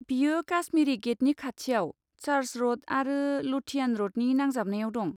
बियो काश्मीरी गेटनि खाथियाव, चार्च र'ड आरो ल'थियान र'डनि नांजाबनायाव दं।